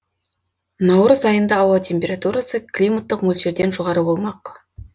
наурыз айында ауа температурасы климаттық мөлшерден жоғары болмақ